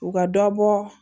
U ka dɔ bɔ